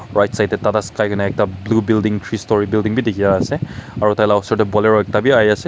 Right side tey Tata sky koina ekta blue building three storie building bi dekhi ase aro taila osor tey bolero ekta bi ahi ase.